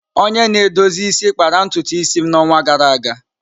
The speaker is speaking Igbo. Onye na-edozi isi kpara ntutu isi m n'ọnwa gara aga.